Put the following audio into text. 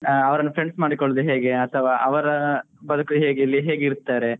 ಅವ್ರ್ನಾ friends ಮಾಡ್ಕೊಳೋದು ಹೇಗೆ ಅಥವಾ ಅವರ ಬದುಕು ಹೇಗೆ, ಇಲ್ಲಿ ಹೇಗೆ ಇರ್ತಾರೆ.